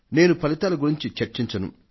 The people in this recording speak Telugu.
నేను ఫలితాల గురించి చర్చించను